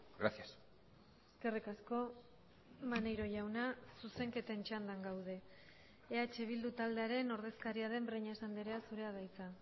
gracias eskerrik asko maneiro jauna zuzenketen txandan gaude eh bildu taldearen ordezkaria den breñas andrea zurea da hitza